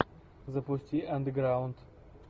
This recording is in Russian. запусти андеграунд